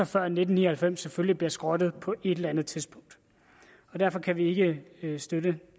før nitten ni og halvfems selvfølgelig bliver skrottet på et eller andet tidspunkt derfor kan vi ikke støtte